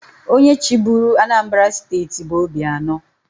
Onye chịburu Anambra steeti bụ Obianọ.